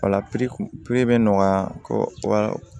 Wala bɛ nɔgɔya kɔ